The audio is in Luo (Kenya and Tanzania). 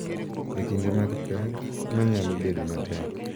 E kinde mag pek ma nyalo bedo matek.